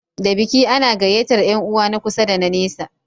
Da biki ana gayyatar Yan uwa na kusa da na nesa